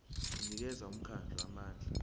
unikeza umkhandlu amandla